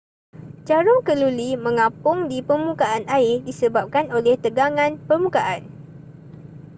jarum keluli mengapung di permukaan air disebabkan oleh tegangan permukaan